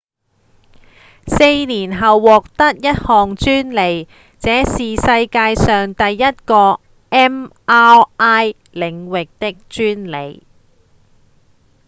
四年後獲得一項專利這是世界上第一個 mri 領域的專利